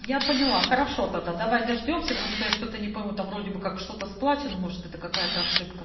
я поняла хорошо тогда давай дождёмся потому что я что-то не пойму там вроде бы как что-то с плотиму что то какая-то ошибка